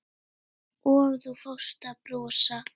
Og þú fórst að brosa.